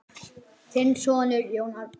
Þinn sonur, Jón Árni.